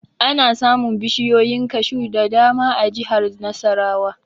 Ana samun bishiyoyin kashu da dama a jihar Nasarawa